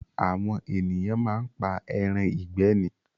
Àwọn ènìyàn máa ń pa ẹran ìgbẹ́ ni